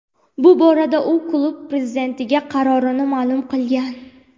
Bu borada u klub prezidentiga qarorini ma’lum qilgan.